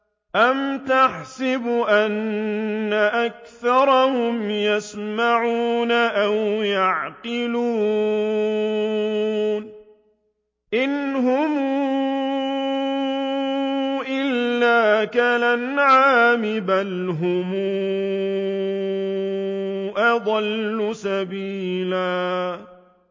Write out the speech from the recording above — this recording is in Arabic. أَمْ تَحْسَبُ أَنَّ أَكْثَرَهُمْ يَسْمَعُونَ أَوْ يَعْقِلُونَ ۚ إِنْ هُمْ إِلَّا كَالْأَنْعَامِ ۖ بَلْ هُمْ أَضَلُّ سَبِيلًا